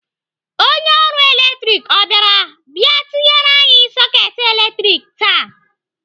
Onye ọrụ latrik ọ bịara bịa tinyere anyị soketị latrik taa?